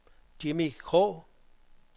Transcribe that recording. Jimmi Krogh